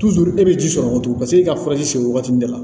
e bɛ ji sɔrɔ o cogo paseke e ka furaji se wagati de la